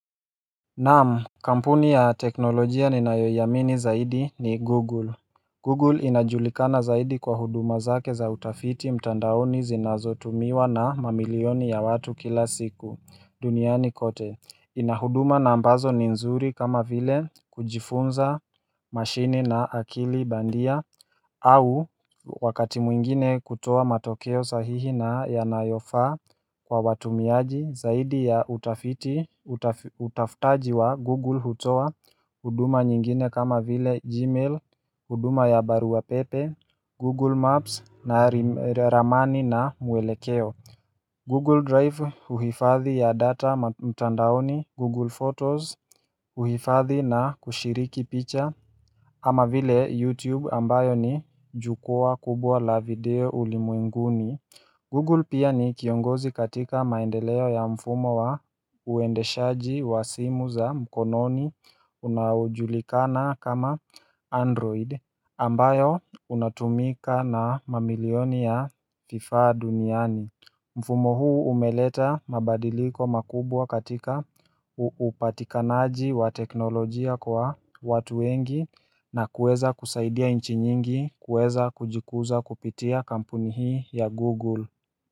Naamu, kampuni ya teknolojia ninayoiamini zaidi ni Google. Google inajulikana zaidi kwa huduma zake za utafiti mtandaoni zinazotumiwa na mamilioni ya watu kila siku duniani kote. Ina huduma na ambazo ni nzuri kama vile kujifunza mashini na akili bandia au wakati mwingine kutoa matokeo sahihi na yanayofa kwa watumiaji zaidi ya utaftaji wa Google hutoa huduma nyingine kama vile Gmail, huduma ya barua pepe, Google Maps na ramani na mwelekeo Google Drive uhifadhi ya data mtandaoni, Google Photos uhifadhi na kushiriki picha ama vile YouTube ambayo ni jukua kubwa la video ulimwenguni Google pia ni kiongozi katika maendeleo ya mfumo wa uendeshaji wa simu za mkononi unaojulikana kama Android ambayo unatumika na mamilioni ya kifaa duniani mfumo huu umeleta mabadiliko makubwa katika upatikanaji wa teknolojia kwa watu wengi na kueza kusaidia inchi nyingi kueza kujikuza kupitia kampuni hii ya Google.